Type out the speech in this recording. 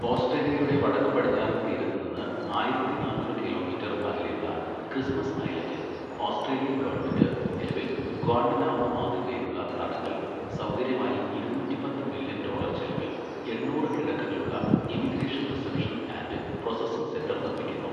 ഓസ്ട്രേലിയയുടെ വടക്കുപടിഞ്ഞാറൻ തീരത്ത് നിന്ന് ആയിരത്തി നാന്നൂറ് കിലോമീറ്റർ അകലെയുള്ള ക്രിസ്മസ് ഐലൻഡിൽ ഓസ്ട്രേലിയൻ ഗവൺമെന്റ് നിലവിൽ ഗ്വാണ്ടനാമോ മാതൃകയിലുള്ള തടങ്കൽ സൗകര്യമായി ഇരുന്നൂറ്റി പത്ത് മില്യൺ ഡോളർ ചെലവിൽ എണ്ണൂറ് കിടക്കകളുള്ള immigration reception and processing centre നിർമ്മിക്കുന്നു.